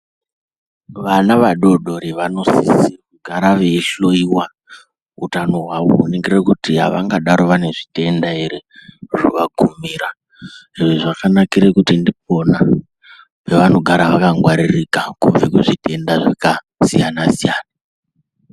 Vana vadodori vanosise kugara veihloiwa utano hwawo kuningire kuti avangadaro vane zvitenda ere zvavakumira. Zviro zvakanakire kuti ndikwona kwavanogare vakangwaririka kubve kuzvitenda zvakasiyana siyana.